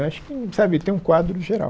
Acho que sabe tem um quadro geral.